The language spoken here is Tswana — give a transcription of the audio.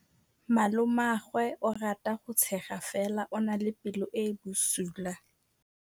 Malomagwe o rata go tshega fela o na le pelo e e bosula.